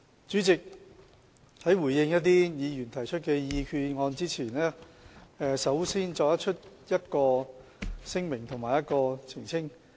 主席，在回應議員提出的決議案之前，我首先作出一項聲明和一項澄清。